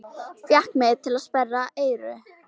Fékk mig til að sperra eyru.